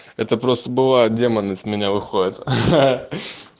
это просто бывает демон из меня выходит